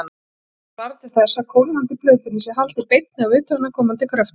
Þetta svarar til þess að kólnandi plötunni sé haldið beinni af utanaðkomandi kröftum.